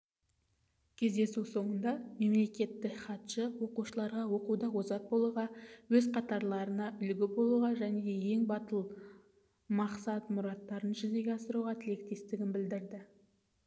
кездесу соңында мемлекеттік хатшы оқушыларға оқуда озат болуға өз қатарларына үлгі болуға және ең батыл мақсат-мұраттарын жүзеге асыруға тілектестігін білдірді